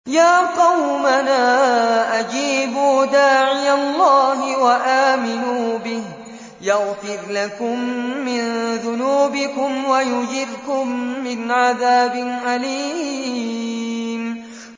يَا قَوْمَنَا أَجِيبُوا دَاعِيَ اللَّهِ وَآمِنُوا بِهِ يَغْفِرْ لَكُم مِّن ذُنُوبِكُمْ وَيُجِرْكُم مِّنْ عَذَابٍ أَلِيمٍ